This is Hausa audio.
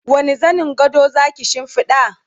wani zanin gado Zaki shimfiɗa?